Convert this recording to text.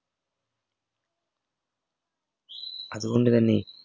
അതുകൊണ്ട് തന്നെ